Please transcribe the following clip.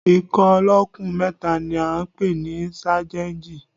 Ikọ̀ olókùn mẹ́ta ni à ń pè ní sájẹ́ǹjì